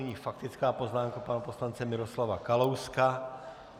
Nyní faktická poznámka pana poslance Miroslava Kalouska.